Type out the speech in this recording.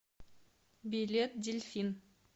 билет дельфин